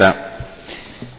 Herr Präsident!